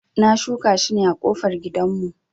Na shuka shi ne a kofar gidan mu